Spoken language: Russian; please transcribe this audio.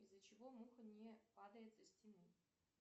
из за чего муха не падает со стены